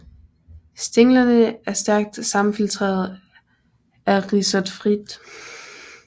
Stænglerne er stærkt sammenfiltrede af rhizoidfilt